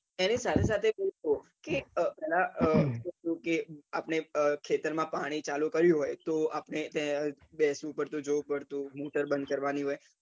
એની સાથે સાથે આપને ખેતર માં પાણી ચાલુ કર્યું હોય તો આપને ત્યાં બેસવું પડતું જોવું પડતું motor બંદ કેવાની હોય